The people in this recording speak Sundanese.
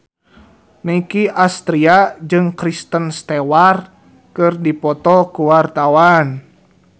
Nicky Astria jeung Kristen Stewart keur dipoto ku wartawan